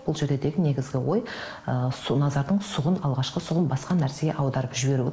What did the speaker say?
бұл жерде тек негізгі ой ы назардың сұғын алғашқы сұғын басқа нәрсеге аударып жіберу